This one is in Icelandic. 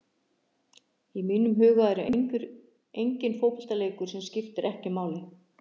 Í mínum huga er enginn fótboltaleikur sem skiptir ekki máli.